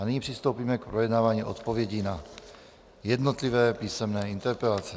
A nyní přistoupíme k projednávání odpovědí na jednotlivé písemné interpelace.